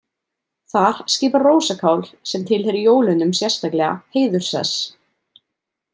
Þar skipar rósakál, sem tilheyrir jólunum sérstaklega, heiðursess.